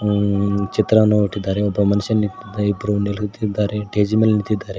ಆ ಚಿತ್ರವನ್ನು ಒಟ್ಟಿದ್ದಾರೆ ಒಬ್ಬ ಮನುಷ್ಯ ನಿಂತಿ ಇಬ್ತು ನಿಲುತಿದ್ದಾರೆ ಸ್ಟೇಜಿನ್ ಮೇಲ್ ನಿಂತಿದ್ದಾರೆ.